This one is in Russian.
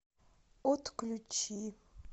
отключи